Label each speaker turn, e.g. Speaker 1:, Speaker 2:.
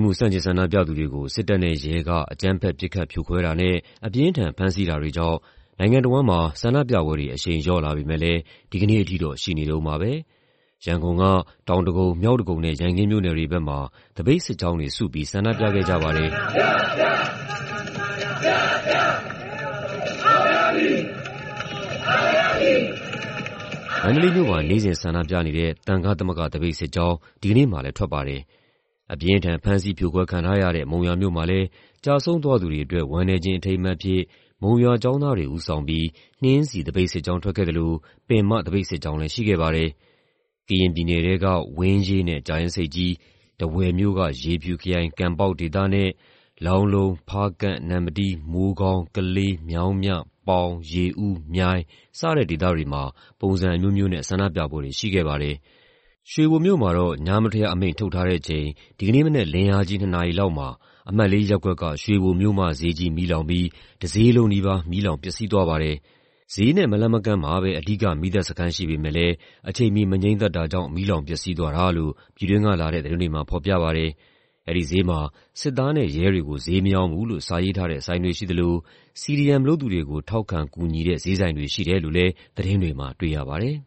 Speaker 1: မှု ဆန့်ကျင် ဆန္ဒပြသူတွေကို စစ်တပ်နဲ့ရဲက အကြမ်းဖက် ပစ်ခတ်ဖြိုခွဲတာနဲ့ အပြင်းအထန် ဖမ်းဆီးတာတွေကြောင့် နိုင်ငံတဝန်းမှာ ဆန္ဒပြပွဲတွေ အရှိန်လျော့လာပေမယ့်လည်း ဒီကနေ့အထိတော့ ရှိနေတုန်းပါပဲ။ ရန်ကုန်က တောင်ဒဂုံ၊ မြောက်ဒဂုံနဲ့ ရန်ကင်းမြို့နယ်တွေဘက်မှာ သပိတ်စစ်ကြောင်းတွေစုပြီး ဆန္ဒပြခဲ့ကြပါတယ်။ မန္တလေးမြို့မှာ နေ့စဉ် ဆန္ဒပြနေတဲ့ သံဃသမဂ္ဂ သပိတ်စစ်ကြောင်း ဒီကနေ့မှာလည်း ထွက်ပါတယ်။ အပြင်းအထန် ဖမ်းဆီး ဖြိုခွဲခံထားရတဲ့ မုံရွာမြို့မှာလည်း ကျဆုံးသွားသူတွေအတွက် ဝမ်းနည်းခြင်း အထိမ်းအမှတ်အဖြစ် မုံရွာကျောင်းသားတွေ ဦးဆောင်ပြီး နှင်းဆီသပိတ်စစ်ကြောင်း ထွက်ခဲ့သလို ပင်မသပိတ်စစ်ကြောင်းလည်း ရှိခဲ့ပါတယ်။ ကရင်ပြည်နယ်ထဲက ဝင်းရေးနဲ့ ကြာအင်းဆိပ်ကြီး၊ ထားဝယ်မြို့၊ ရေဖြူခရိုင်၊ ကံပေါက်ဒေသနဲ့ လောင်းလုံး၊ ဖားကန့်၊ နမ္မတီး၊ မိုးကောင်း၊ ကလေး၊ မြောင်းမြ၊ ပေါင်၊ ရေဦး၊ မြိုင် စတဲ့ဒေသတွေမှာ ပုံစံအမျိုးမျိုးနဲ့ ဆန္ဒပြပွဲတွေ ရှိခဲ့ပါတယ်။ ရွှေဘိုမြို့မှာတော့ စနေမနက်လင်းအားကြီး နှစ်နာရီလောက်မှာ အမှတ် ၄ ရပ်ကွက်က ရွှေဘိုမြို့မဈေးကြီး မီးလောင်ပြီး တဈေးလုံးနီးပါး မီးလောင်ပျက်စီးသွားပါတယ်။ ဈေးနဲ့မလှမ်းမကမ်းမှာပဲ အဓိက မီးသတ်စခန်း ရှိပေမယ့်လည်း အချိန်မီ မငြှိမ်းသတ်တာကြောင့် မီးလောင်ပျက်စီးသွားတာလို့ ပြည်တွင်းကလာတဲ့ သတင်းတွေမှာ ဖော်ပြပါတယ်။ အဲဒီဈေးမှာ စစ်သားနဲ့ရဲတွေကို ဈေးမရောင်းဘူးလို့ စာရေးထားတဲ့ဆိုင်တွေ ရှိသလို CDM လုပ်သူတွေကို ထောက်ခံကူညီတဲ့ ဈေးဆိုင်တွေ ရှိတယ်လို့လည်း သတင်းတွေမှာ တွေ့ရပါတယ်